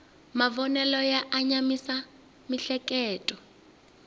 mavonelo ya anamisa miehleketo